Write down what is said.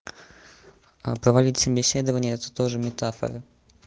а провалить собеседование это тоже метафоры